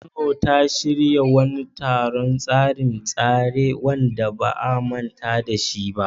Kano ta shirya wani taron tseren tsere wanda ba a manta da shi ba a bara.